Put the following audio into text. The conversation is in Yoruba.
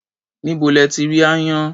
Níbo lẹ ti rí aáyán?